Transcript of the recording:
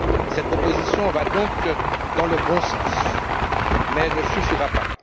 Cette proposition va donc dans le bon sens, mais elle ne suffira pas.